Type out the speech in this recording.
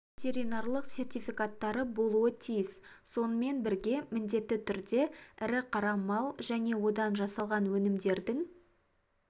ветеринарлық сертификаттары болуы тиіс сонымен бірге міндетті түрде ірі қара мал және одан жасалған өнімдердің